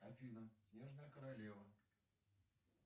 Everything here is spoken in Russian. афина снежная королева